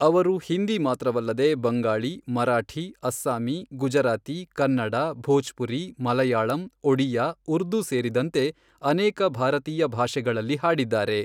ಅವರು ಹಿಂದಿ ಮಾತ್ರವಲ್ಲದೆ, ಬಂಗಾಳಿ, ಮರಾಠಿ, ಅಸ್ಸಾಮಿ, ಗುಜರಾತಿ, ಕನ್ನಡ, ಭೋಜ್ಪುರಿ, ಮಲಯಾಳಂ, ಒಡಿಯಾ, ಉರ್ದು ಸೇರಿದಂತೆ ಅನೇಕ ಭಾರತೀಯ ಭಾಷೆಗಳಲ್ಲಿ ಹಾಡಿದ್ದಾರೆ.